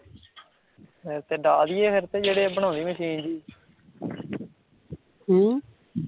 ਅਮ